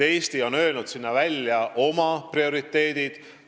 Eesti on öelnud välja oma prioriteedid.